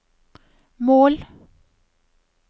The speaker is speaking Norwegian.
mål